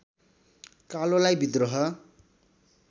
कालोलाई विद्रोह